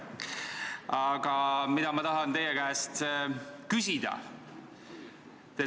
Aga mida ma tahan teie käest küsida?